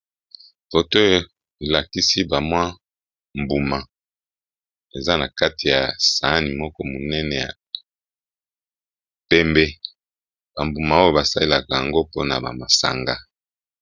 Foto oyo elakisi bamwa mbuma eza na kati ya sahani moko monene ya pembe bambuma oyo basalelaka yango mpona bamasanga.